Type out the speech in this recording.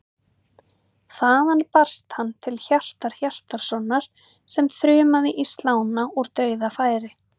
Þaðan barst hann til Hjartar Hjartarsonar sem þrumaði í slána úr dauðafæri.